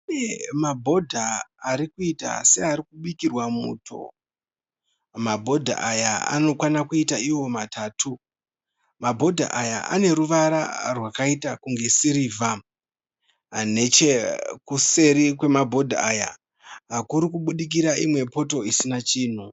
Kune mabhodha arikuita seari kubikirwa muto, mabhodha aya anokwana kuita Iwo matatu. Mabhodha aya aneruvara rwakaita kunge sirivha, neche kuseri kwemabhodha aya kuri kubudikira imwe poto isina chinhu.